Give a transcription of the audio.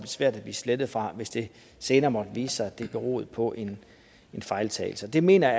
svært at blive slettet fra hvis det senere måtte vise sig at det beroede på en fejltagelse det mener